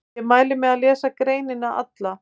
Ég mæli með að lesa greinina alla.